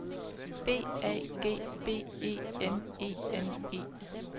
B A G B E N E N E